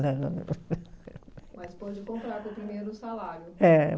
Mas pôde comprar com o primeiro salário. É